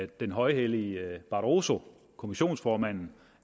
den højhellige barroso kommissionsformanden